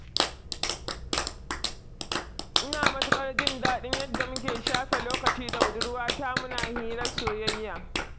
Ina matuƙar jin daɗin yadda muke shafe lokaci da budurwata, muna hirar soyayya.